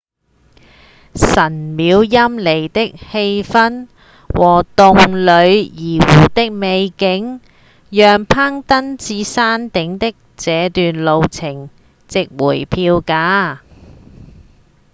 神廟陰鬱的氣氛和洞里薩湖的美景讓攀登到山頂的這段路程值回票價